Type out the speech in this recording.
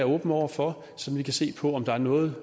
åben over for så vi kan se på om der er noget